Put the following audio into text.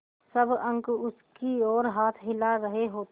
सब अंक उसकी ओर हाथ हिला रहे होते